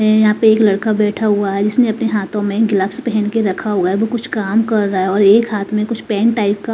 यहां पे एक लड़का बैठा हुआ है जिसने अपने हाथों में ग्लव्स पहन के रखा हुआ है वो कुछ काम कर रहा है और एक हाथ में कुछ पेन टाइप का --